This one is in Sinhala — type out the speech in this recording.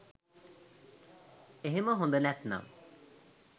එහෙම හොඳ නැත්නම්